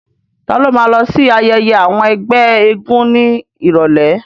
Ta ló ma lọ sí ayẹyẹ àwọn ẹgbẹ́ eégún ní ìrọ̀lẹ́?